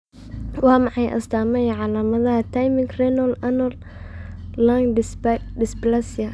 Waa maxay astaamaha iyo calaamadaha Thymic Renal Anal Lung dysplasia?